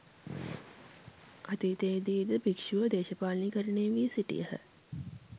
අතීතයේදී ද භික්‍ෂුව දේශපාලනීකරණය වී සිටියහ